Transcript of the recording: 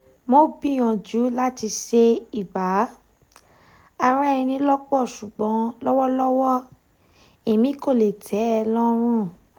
mo gbiyanju lati ṣe iba ara eni lopo ṣugbọn lọwọlọwọ èmí kò lè tẹ́ e lọ́rùn